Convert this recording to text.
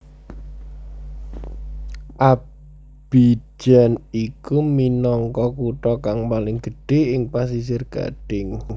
Abidjan iku minangka kutha kang paling gedhé ing Pasisir Gadhing